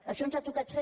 això ens ha tocat fer